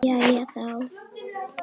Jæja þá.